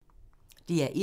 DR1